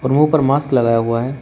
मुंह पर मास्क लगाया हुआ है।